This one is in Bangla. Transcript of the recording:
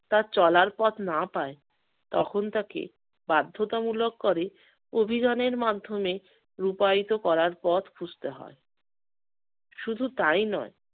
তার চলার পথ না পায় তখন তাকে বাধ্যতামূলক করে অভিযানের মাধ্যমে রূপায়িত করার পথ খুঁজতে হয়। শুধু তাই নয়